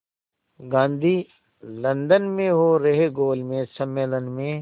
Gandhi London में हो रहे गोलमेज़ सम्मेलन में